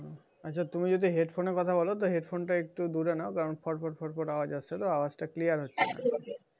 আচ্ছা তুমি যদি headphone এ কথা বল তা headphone টা একটু দূরে নেউ কারণ ফট ফট ফট ফট আওয়াজ হচ্ছে তো আওয়াজটা clear হচ্ছে না।